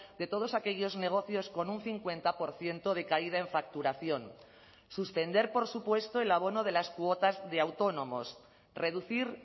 de todos aquellos negocios con un cincuenta por ciento de caída en facturación suspender por supuesto el abono de las cuotas de autónomos reducir